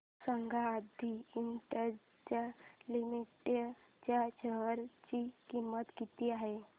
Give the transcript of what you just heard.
सांगा Adi industries limited च्या share ची किंमत किती आहे